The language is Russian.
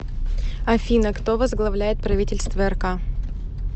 афина кто возглавляет правительство рк